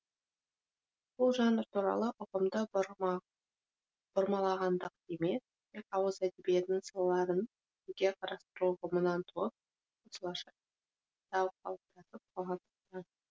бұл жанр туралы ұғымды бұрмалағандық емес тек ауыз әдебиетінің салаларын жеке қарастыру ұғымынан туып осылайша атау қалыптасып қалғандықтан